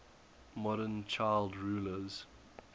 modern child rulers